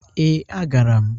Ee, agara m